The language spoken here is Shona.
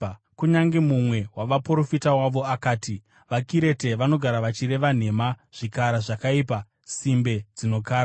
Kunyange mumwe wavaprofita wavo akati, “VaKirete vanogara vachireva nhema, zvikara zvakaipa, simbe dzinokara.”